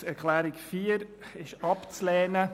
Die Planungserklärung 4 ist abzulehnen.